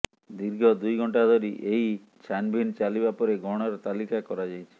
ଦୀର୍ଘ ଦୁଇଘଣ୍ଟା ଧରି ଏହି ଛାନ୍ଭିନ୍ ଚାଲିବା ପରେ ଗହଣାର ତାଲିକା କରାଯାଇଛି